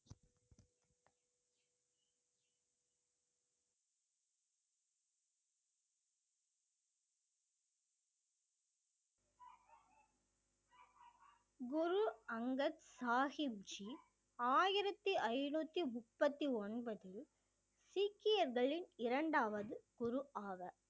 குரு அங்கத் சாஹிப் ஜி ஆயிரத்தி ஐநூத்தி முப்பத்தி ஒன்பது சீக்கியர்களின் இரண்டாவது குரு ஆவார்